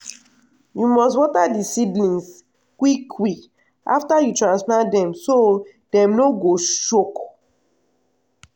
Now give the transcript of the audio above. you must water di seedlings quick quick after you transplant dem so dem no go shock.